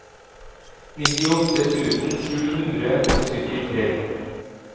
nittiåtte tusen sju hundre og syttitre